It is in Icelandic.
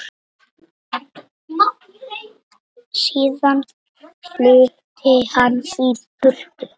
Síðan flutti hann í burtu.